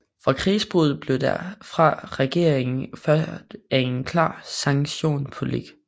Fra krigsudbruddet blev der fra regeringen ført en klar sanktionspolitik